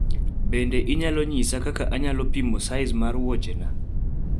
Bende inyalo nyisa kaka anyalo pimo size ma wuochna